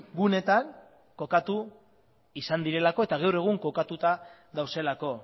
guneetan kokatu izan direlako eta gaur egun kokatuta daudelako